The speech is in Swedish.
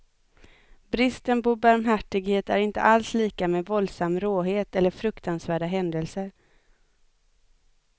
Bristen på barmhärtighet är inte alls lika med våldsam råhet eller fruktansvärda händelser.